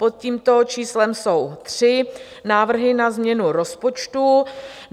Pod tímto číslem jsou tři návrhy na změnu rozpočtu.